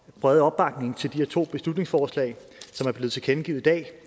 brede opbakning til de her to beslutningsforslag som er blevet tilkendegivet i dag